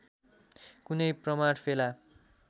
कुनै प्रमाण फेला